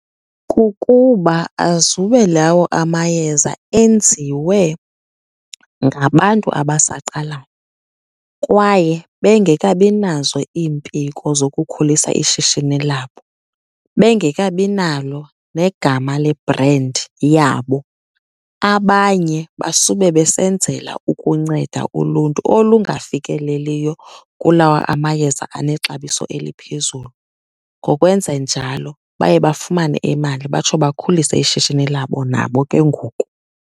Kukuba azube lawo amayeza enziwe ngabantu abasaqala kwaye bengekabi nazo iimpiko zokukhulisa ishishini labo, bengekabi nalo negama lebhrendi yabo. Abanye basube besenzela ukunceda uluntu olungafikeleliyo kulawa amayeza anexabiso eliphezulu. Ngokwenze njalo baye bafumane imali, batsho bakhulise ishishini labo nabo ke ngoku.